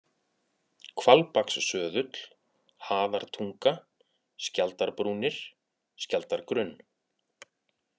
Hvalbakssöðull, Haðartunga, Skjaldarbrúnir, Skjaldargrunn